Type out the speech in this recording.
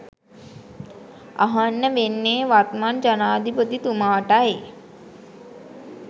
අහන්න වෙන්නේ වත්මන් ජනාධිපතිතුමාටයි